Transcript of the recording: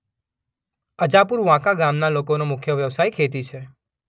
અજાપુર વાંકા ગામના લોકોનો મુખ્ય વ્યવસાય ખેતી છે.